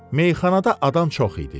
Meyxanada adam çox idi.